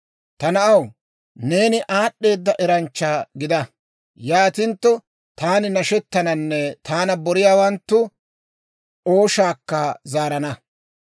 Ta na'aw, neeni aad'd'eeda eranchcha gida. Yaatintto taani nashettananne taana boriyaawanttu ooshaakka zaarana.